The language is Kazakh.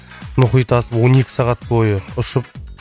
мұхит асып он екі сағат бойы ұшып